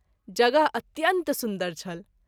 जगह अत्यंत सुन्दर छल।